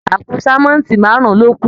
Àpò sánmọ́ntì márùn lo kù.